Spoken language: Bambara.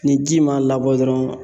Ni ji ma labɔ dɔrɔn